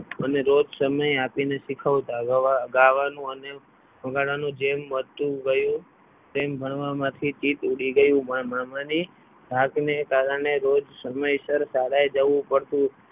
અને રોજ સમય આપીને શીખવતા ગ્વાનું ગાવાનું વગાડવાનું જેમ વધતું ગયું તેમ ભણવામાંથી ચિત ઉડી ગઈ એવું મામા ની ઢાકને કારણે રોજ સમયસર શાળા જવું પડતું.